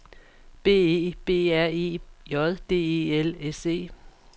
B E B R E J D E L S E